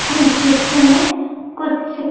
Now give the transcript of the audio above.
जिसमें कुछ--